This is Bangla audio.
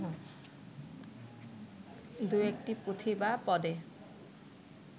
দু-একটি পুঁথি বা পদে